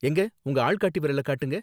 எங்க உங்க ஆள்காட்டி விரல காட்டுங்க